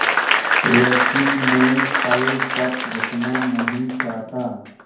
लेकिन मैं कल तक रुकना नहीं चाहता